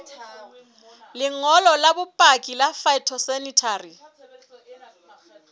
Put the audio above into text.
lengolo la bopaki la phytosanitary